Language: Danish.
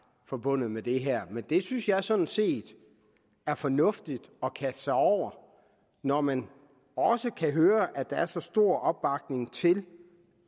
forbundet med det her men det synes jeg sådan set er fornuftigt at kaste sig over når man også kan høre at der er så stor opbakning til